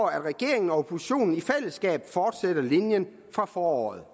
at regeringen og oppositionen i fællesskab fortsætter linjen fra foråret